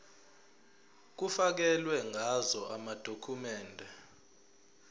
kufakelwe ngazo amadokhumende